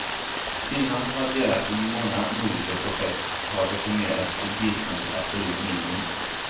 Finland som varit delaktig i många nordiska projekt har decimerat sitt bistånd till absolut minimum.